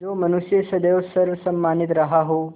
जो मनुष्य सदैव सर्वसम्मानित रहा हो